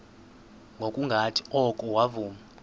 ngokungathi oko wavuma